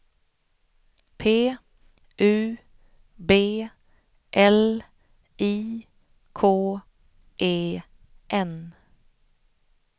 P U B L I K E N